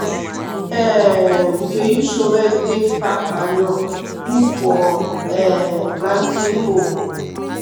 um we dey use shovel take pack manure put for um planting hole.